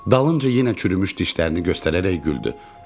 Dalınca yenə çürümüş dişlərini göstərərək güldü.